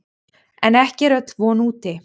En ekki er öll von úti.